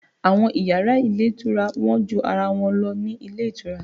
Àwọn yàrá ilé ìtura wọ́n ju ara wọn lọ ní ilé ìtura